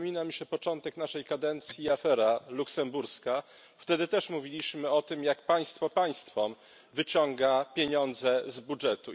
Przypomina mi się początek naszej kadencji afera luksemburska, wtedy też mówiliśmy o tym, jak państwo państwom wyciąga pieniądze z budżetu.